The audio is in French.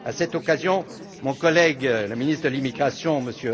À cette occasion, mon collègue, le ministre de l'immigration,